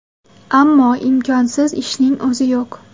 Ammo imkonsiz ishning o‘zi yo‘q.